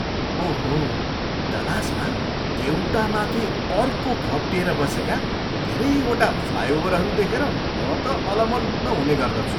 ओहो, डलासमा एउटामाथि अर्को खप्टिएर बसेका धेरैवटा फ्लाइओभरहरू देखेर म त अलमल्ल हुने गर्दछु।